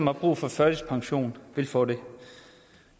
har brug for førtidspension vil få det